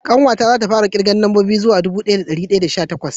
ƙanwa ta za ta fara kirga nambobi zuwa dubu daya da dari hudu da sha takwas